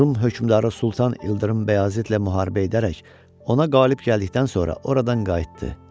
Rum hökmdarı Sultan İldırım Bəyazitlə müharibə edərək ona qalib gəldikdən sonra oradan qayıtdı.